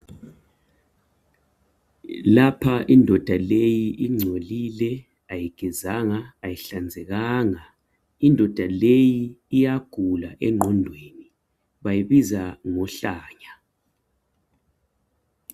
Lapha indoda leyi ingcolile ayigezanga, ayihlanzekanga. Indoda leyi iyagula engqondweni bayibiza ngohlanya.